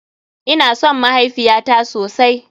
Ina son mahaifiyata sosai.